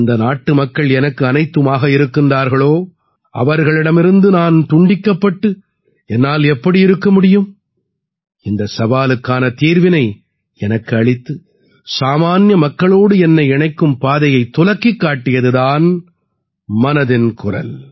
எந்த நாட்டுமக்கள் எனக்கு அனைத்துமாக இருக்கிறார்களோ அவர்களிடமிருந்தே நான் துண்டிக்கப்பட்டு என்னால் எப்படி இருக்க முடியும் இந்தச் சவாலுக்கான தீர்வினை எனக்கு அளித்து சாமான்ய மக்களோடு என்னை இணைக்கும் பாதையத் துலக்கிக் காட்டியது தான் மனதின் குரல்